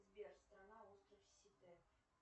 сбер страна остров сите